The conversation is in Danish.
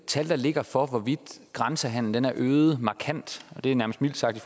tal der ligger for hvorvidt grænsehandelen er øget markant og det er nærmest mildt sagt i